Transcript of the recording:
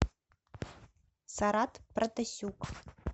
сарат протасюк